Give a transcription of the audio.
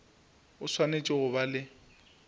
o swanetše go ba le